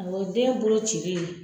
Awɔ den bolo cili